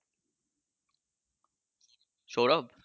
Sourav?